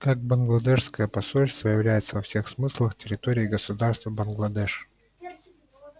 как бангладешское посольство является во всех смыслах территорией государства бангладеш